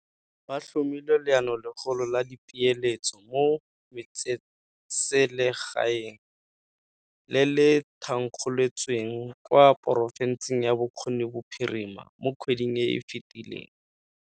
Ba tlhomile Leanolegolo la Dipeeletso mo Metsesele gaeng, le le thankgolotsweng kwa porofenseng ya Bokone Bophirima mo kgweding e e fetileng.